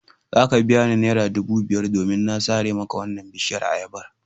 Za ka biya ni naira dubu biyar domin na sare maka wannan bishiyar ayabar.